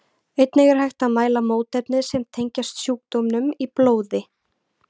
Einnig er hægt að mæla mótefni sem tengjast sjúkdómnum í blóði.